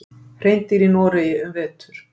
Hreindýr í Noregi um vetur.